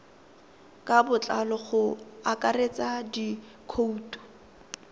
ka botlalo go akaretsa dikhoutu